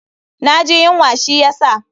Na ji yunwa shi ya sa.